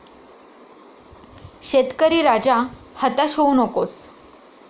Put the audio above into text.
शेतकरी राजा, हताश होऊ नकोस...